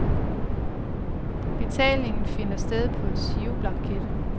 Betalingen finder sted på en giroblanket.